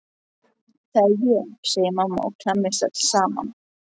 Það er ég, segir mamma og klemmist öll saman.